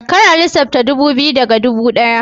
Kar a lissafta ɗubu biyu daga ɗubu ɗaya